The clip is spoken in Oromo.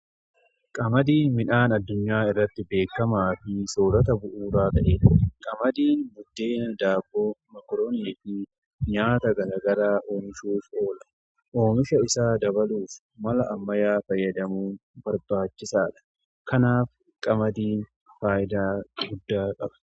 Qamadiin midhaan addunyaa irratti beekamaa fi soorata bu'uuraa ta'eedha. Qamadiin buddeena, daabboo, makoroonii fi nyaata garaagaraa oomishuuf oola. Oomisha isaa dabaluuf mala ammayyaa fayyadamuun barbaachisaadha. Kanaaf qamadiin faayidaa guddaa qaba.